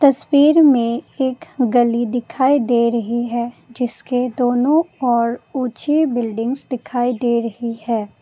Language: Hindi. तस्वीर में एक गली दिखाई दे रही है जिसके दोनों ओर ऊंची बिल्डिंग्स दिखाई दे रही है।